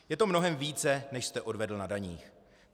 Je to mnohem více, než jste odvedl na daních.